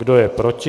Kdo je proti?